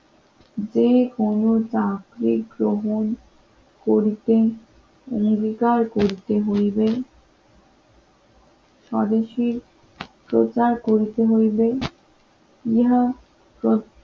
যেকোনো চাকরি গ্রহণ করতে অঙ্গীকার করতে হইবে স্বদেশীর প্রচার করিতে হইবে ইহা